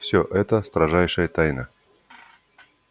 все это строжайшая тайна